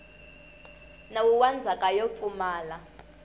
nawu wa ndzhaka yo pfumala